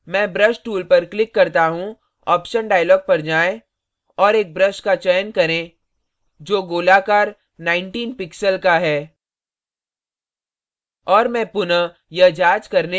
मैं brush tool पर click करता हूँ option dialog पर जाएँ और एक brush का चयन करें जो गोलाकार 19 pixels का है